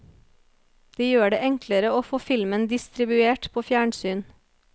De gjør det enklere å få filmen distribuert på fjernsyn.